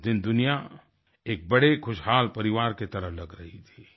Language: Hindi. उस दिन दुनिया एक बड़े खुशहाल परिवार की तरह लग रही थी